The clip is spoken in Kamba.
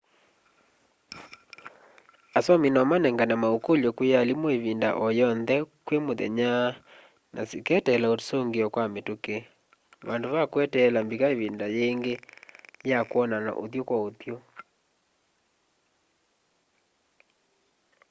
asomi no manengane maukulyo kwi aalimu ivinda o yonthe kwi muthenya na sikeeteela usungio wa mituki vandu va kweteela mbika ivinda yingi ya kwonana uthyu-kwa-uthyu